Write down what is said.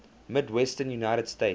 midwestern united states